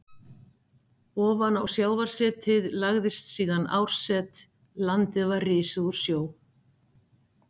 Ofan á sjávarsetið lagðist síðan árset, landið var risið úr sjó.